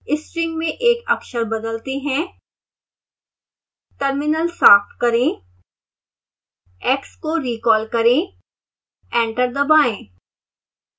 string में एक अक्षर बदलते हैं